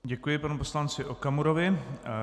Děkuji panu poslanci Okamurovi.